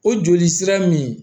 O joli sira min